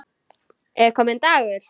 Er kominn dagur?